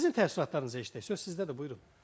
Sizin təəssüratlarınızı eşidək, söz sizdədir, buyurun.